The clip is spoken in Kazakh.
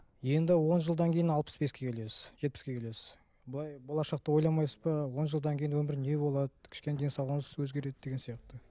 енді он жылдан кейін алпыс беске келесіз жетпіске келесіз былай болашақты ойламайсыз ба он жылдан кейін өмір не болады кішкене денсаулығыңыз өзгереді деген сияқты